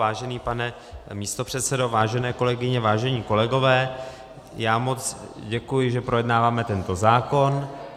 Vážený pane místopředsedo, vážené kolegyně, vážení kolegové, já moc děkuji, že projednáváme tento zákon.